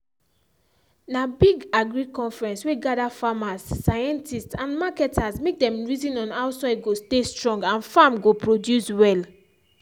na big agric conference wey gather farmers scientists and marketers make dem reason how soil go stay strong and farm go produce well.